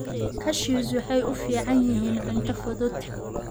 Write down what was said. Cashews waxay u fiican yihiin cunto fudud.